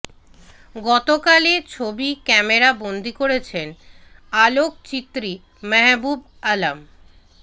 গতকাল এ ছবি ক্যামেরা বন্দি করেছেন আলোকচিত্রী মাহবুব আলম